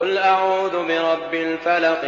قُلْ أَعُوذُ بِرَبِّ الْفَلَقِ